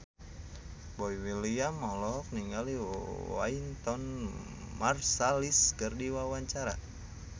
Boy William olohok ningali Wynton Marsalis keur diwawancara